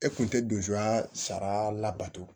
E kun tɛ dusuan sariya labato